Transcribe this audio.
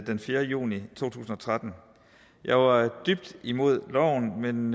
den fjerde juni to tusind og tretten jeg var dybt imod loven